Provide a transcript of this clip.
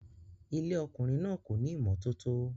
Ilé ọkùnrin náà kò ní ìmọ́tótó